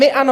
My ano.